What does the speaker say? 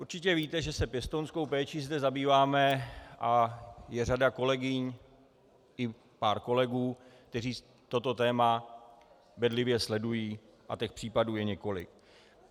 Určitě víte, že se pěstounskou péčí zde zabýváme a je řada kolegyň i pár kolegů, kteří toto téma bedlivě sledují, a těch případů je několik.